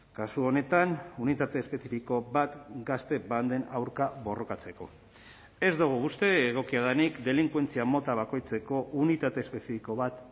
kasu honetan unitate espezifiko bat gazte banden aurka borrokatzeko ez dugu uste egokia denik delinkuentzia mota bakoitzeko unitate espezifiko bat